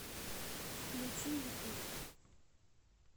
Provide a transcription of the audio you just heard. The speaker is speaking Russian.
включи ютуб